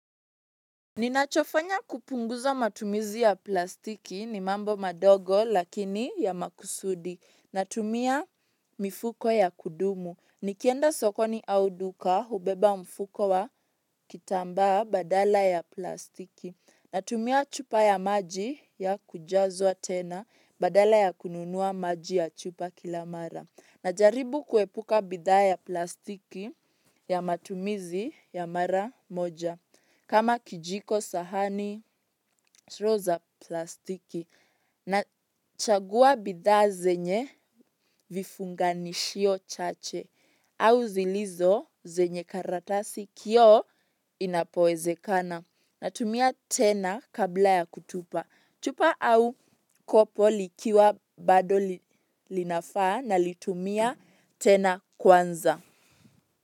Ninachofanya kupunguza matumizi ya plastiki ni mambo madogo lakini ya makusudi. Natumia mifuko ya kudumu. Nikienda sokoni au duka hubeba mfuko wa kitambaa badala ya plastiki. Natumia chupa ya maji ya kujazwa tena badala ya kununua maji ya chupa kila mara. Najaribu kuepuka bidhaa ya plastiki ya matumizi ya mara moja. Kama kijiko sahani plastiki. Nachagua bidhaa zenye vifunganishio chache au zilizo zenye karatasi, kioo inapowezekana. Natumia tena kabla ya kutupa chupa au kopo likiwa bado linafaa nalitumia tena kwanza.